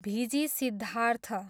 भिजी सिद्धार्थ